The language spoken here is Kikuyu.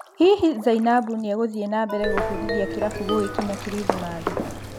Hihi Zainabu nĩegũthiĩ nambere gũbundithia kĩrabu gũgĩkinya Kirithimathi?